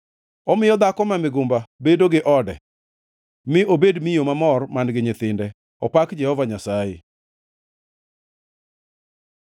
Omiyo dhako ma migumba bedo gi ode mi obed miyo mamor man-gi nyithinde. Opak Jehova Nyasaye!